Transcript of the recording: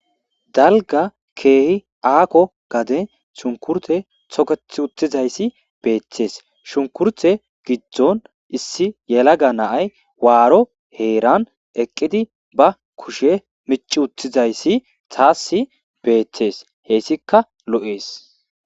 dalga keehi aakko gade shunkurte toketh uttizayssi beeththees shunkurte giddon issi yelaga naay waaro heeran eqqidi ba kushe mici uttizayssi taasi beeththees heyssika lo7ees